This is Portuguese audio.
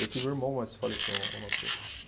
Eu tive um irmão, mas faleceu ao ao nascer.